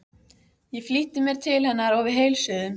Ég flýtti mér til hennar og við heilsuðumst.